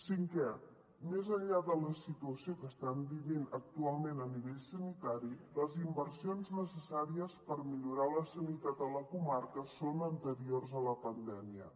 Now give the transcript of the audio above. cinquè més enllà de la situació que estan vivint actualment a nivell sanitari les inversions necessàries per millorar la sanitat a la comarca són anteriors a la pandèmia